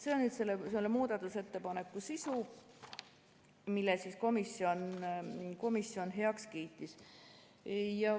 " See on selle muudatusettepaneku sisu, mille komisjon heaks kiitis.